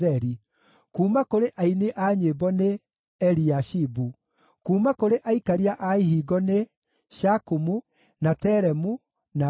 Kuuma kũrĩ aini a nyĩmbo nĩ: Eliashibu. Kuuma kũrĩ aikaria a ihingo nĩ: Shakumu, na Telemu, na Uri.